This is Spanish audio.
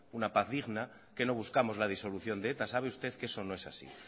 una paz digna que no buscamos la disolución de eta sabe usted que eso no es así